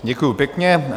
Děkuju pěkně.